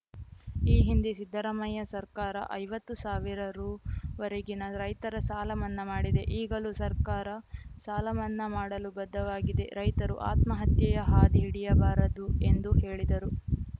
ಈ ಹಿಂದೆ ಸಿದ್ದರಾಮಯ್ಯ ಸರ್ಕಾರ ಐವತ್ತು ಸಾವಿರ ರುವರೆಗಿನ ರೈತರ ಸಾಲಮನ್ನಾ ಮಾಡಿದೆ ಈಗಲೂ ಸರ್ಕಾರ ಸಾಲಮನ್ನಾ ಮಾಡಲು ಬದ್ಧವಾಗಿದೆ ರೈತರು ಆತ್ಮಹತ್ಯೆಯ ಹಾದಿ ಹಿಡಿಯಬಾರದು ಎಂದು ಹೇಳಿದರು